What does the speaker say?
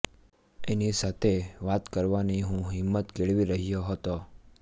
એની સાથે વાત કરવાની હું હીંમત કેળવી રહ્યો હતો